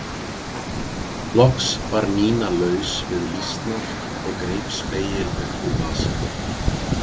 Loks var Nína laus við lýsnar og greip spegil upp úr vasanum.